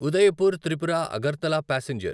Udaipur Tripura Agartala passenger